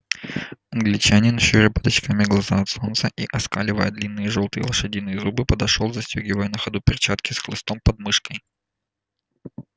англичанин щуря под очками глаза от солнца и оскаливая длинные жёлтые лошадиные зубы подошёл застёгивая на ходу перчатки с хлыстом под мышкой